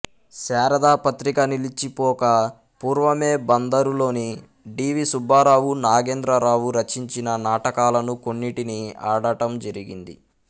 శారద పత్రిక నిలిచిపోక పూర్వమే బందరులోని డి వి సుబ్బారావు నాగేంద్రరావు రచించిన నాటకాలను కొన్నిటిని ఆడటం జరిగింది